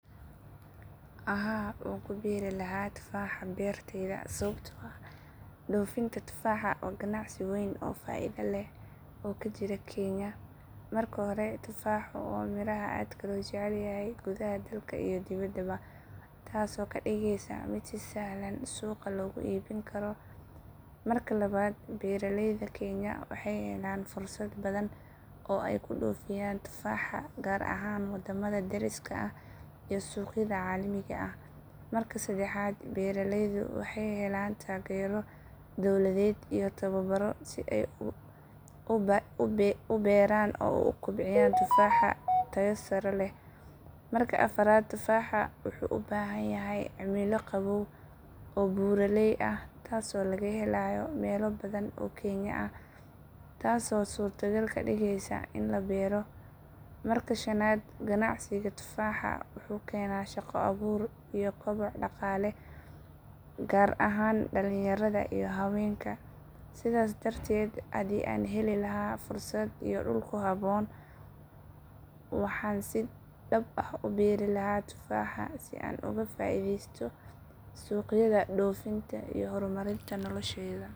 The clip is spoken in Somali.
Haa wankuberi laha gedka tufaxa berteydha, sababto aah doofinta tufaxa wa gancsi weyn oo faidha leh oo kajiro kenya. marka hore tufaxa wa miraha aad lojeclayhy gudaha dalka iyo dibada. taas oo kadigeyso mid aad usahlan oo suqa lagu ibin karo. marka labad bereleydha kenya wexey helan fursad aad ubadhan ooy kudofiyan tufaxa gar ahan wadamada dariska iyo suqyada calimiga aah. marka sedexad bereleydha wexey helan tagero dowladeded iyo towabaro uberaan uu kubciyaan tufaxa teyo sare leh. marka afarad tufaxa wuxu ubahanyhy cimilo qawow oo burale aah taas oo lagahelayo melo badhan oo kenya taas oo surtagal kadigeyso iin labero marka shanad ganacsiga tufaxa wuxuu kena shaqo abuur iyo koobac daqale gaar ahaan dalinyarada iyo dumarka. sidaa darteed hadii heli laha fursad iyo dul kuhaboon waxan si dab uberi laha tufaxa si aan ugu faideysto suqyada iyo doofinta iyo hormarinta nolesheydha